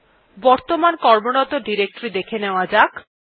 এখন বর্তমান কর্মরত ডিরেক্টরী দেখা নেওয়া যাক